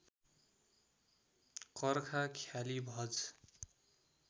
कर्खा ख्याली भज